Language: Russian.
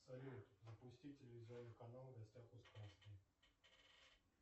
салют запусти телевизионный канал в гостях у сказки